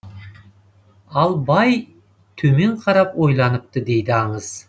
ал бай төмен қарап ойланыпты дейді аңыз